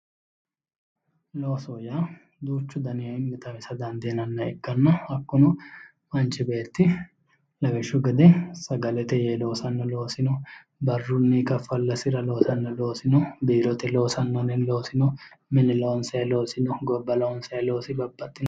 Loosoho yaa duuchu danii xawisa danidiinanniha ikkanna hakkuno manichi beeti lawishshu gede sagalete yee loosanno loosi no barrunni kafallasira loosanno loosi no biirite losanno loosi no mine loonisayi loosi no gobba loonisayi baabbaxino loosino